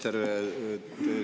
Härra minister!